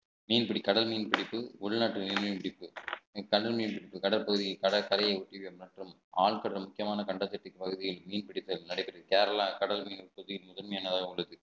மீன்பிடி கடல் மீன் பிடிப்பு உள்நாட்டு மீன் பிடிப்பு கடல் நீர் கடல் பகுதி கடற்கரையை ஒட்டி ஆழ்கடல் முக்கியமான கண்ட பகுதியில் மீன்பிடி தொழில் நடைபெற்றது கேரளா கடல் நீர் பகுதியில் முதன்மையானதாக உள்ளது